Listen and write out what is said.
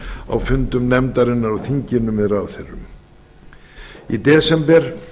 á fundum nefndarinnar á þinginu með ráðherrum í desember